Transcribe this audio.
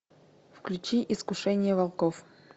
включи искушение волков